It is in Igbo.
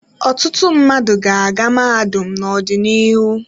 Ọtụtụ mmadụ ga-aga mahadum n'ọdịnihu.